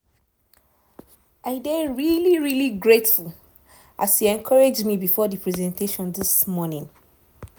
i dey really really grateful as you encourage me before the presentation this morning.